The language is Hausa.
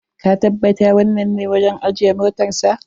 Ka tabbata wannan ne wajen ajiye motarsa.